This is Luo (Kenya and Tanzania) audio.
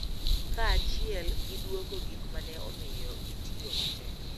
Kaachiel gi dwoko gik ma ne omiyo gitiyo matek.